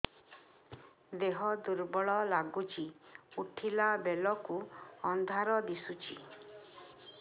ଦେହ ଦୁର୍ବଳ ଲାଗୁଛି ଉଠିଲା ବେଳକୁ ଅନ୍ଧାର ଦିଶୁଚି